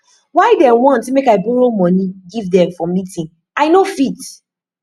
why dem want make i borrow moni give dem for meeting i no fit